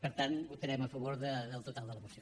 per tant votarem a favor del total de la moció